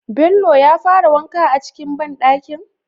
Bello ya fara wanka a cikin ban dakin?